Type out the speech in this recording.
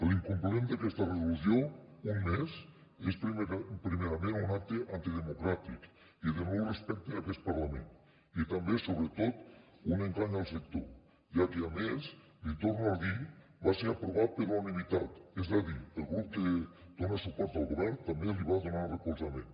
l’incompliment d’aquesta resolució un mes és primerament un acte antidemocràtic i de no respecte a aquest parlament i també sobretot un engany al sector ja que a més l’hi torno a dir va ser aprovat per unanimitat és a dir el grup que dona suport al govern també li va donar recolzament